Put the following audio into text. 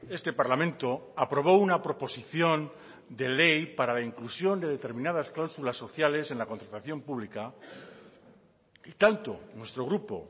este parlamento aprobó una proposición de ley para la inclusión de determinadas cláusulas sociales en la contratación pública y tanto nuestro grupo